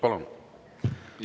Palun!